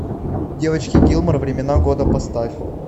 девочки гилмор времена года поставь